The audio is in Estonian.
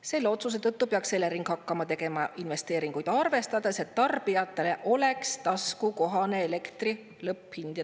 "Selle otsuse tõttu peaks Elering hakkama tegema investeeringuid arvestades, et tarbijatele oleks taskukohane elektri lõpphind.